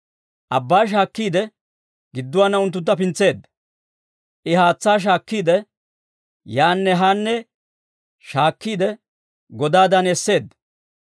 Abbaa shaakkiide, gidduwaana unttuntta pintseedda; I haatsaa shaakkiide, yaanne haanne shaakkiide godaadan esseedda.